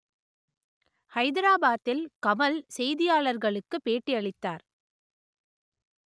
ஹைதராபாத்தில் கமல் செய்தியாளர்களுக்கு பேட்டியளித்தார்